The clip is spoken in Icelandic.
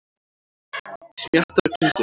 Smjattar og kyngir.